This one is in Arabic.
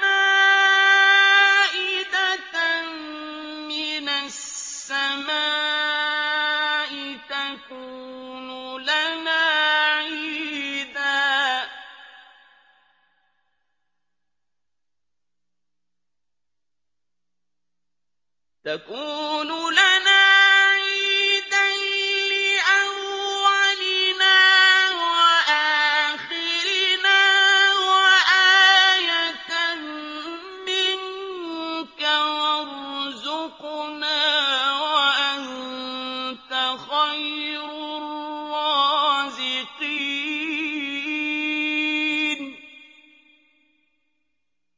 مَائِدَةً مِّنَ السَّمَاءِ تَكُونُ لَنَا عِيدًا لِّأَوَّلِنَا وَآخِرِنَا وَآيَةً مِّنكَ ۖ وَارْزُقْنَا وَأَنتَ خَيْرُ الرَّازِقِينَ